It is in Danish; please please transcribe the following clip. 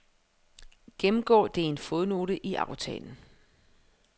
Gennemgå det i en fodnote i aftalen.